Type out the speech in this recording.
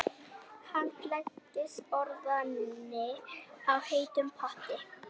Handleggsbrotnaði í heitum potti